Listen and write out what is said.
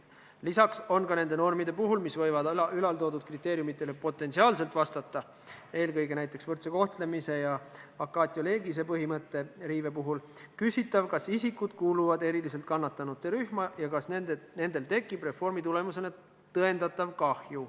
Lisaks on ka nende normide puhul, mis võivad ülaltoodud kriteeriumidele potentsiaalselt vastata, eelkõige näiteks võrdse kohtlemise ja vacatio legis'e põhimõtte riive puhul küsitav, kas isikud kuuluvad eriliselt kannatanute rühma ja kas nendel tekib reformi tulemusena tõendatav kahju.